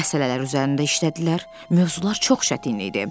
Məsələlər üzərində işlədilər, mövzular çox çətin idi.